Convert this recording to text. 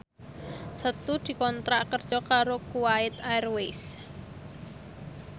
Setu dikontrak kerja karo Kuwait Airways